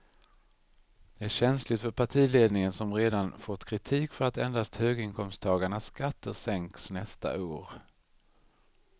Det är känsligt för partiledningen som redan fått kritik för att endast höginkomsttagarnas skatter sänks nästa år.